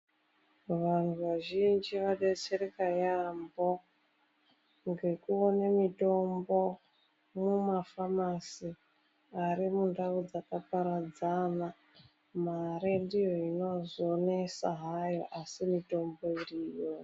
Vantu vazhinji vadetsereka yambo ngekuona mitombo mumafamasi ari mundau dzakaparadzana. Mare ndiyo inozonesa hayo, asi mitombo iriyo.